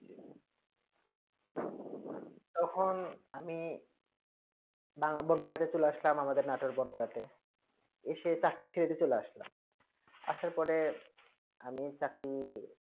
তখন আমি বাংলা বড় পৰ তে চলে আসলাম আমাদের নাতুর বনপাড়া তে এসে চরকি ছেড়ে তে চলে আসলাম আসার পরে আমি চাকরি